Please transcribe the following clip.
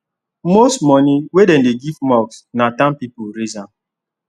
most money wey dem give mosque na town people raise m